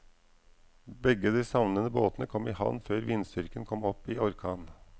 Begge de savnede båtene kom i havn før vindstyrken kom opp i orkan.